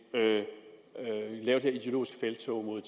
her ideologiske felttog mod